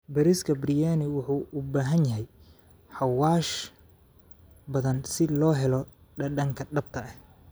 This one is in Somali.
Bariiska Biryani wuxuu u baahan yahay xawaash badan si loo helo dhadhanka dhabta ah.